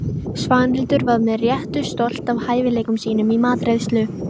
Svanhildur var með réttu stolt af hæfileikum sínum í matreiðslu.